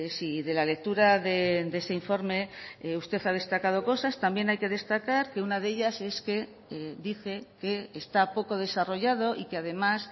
si de la lectura de ese informe usted ha destacado cosas también hay que destacar que una de ellas es que dice que está poco desarrollado y que además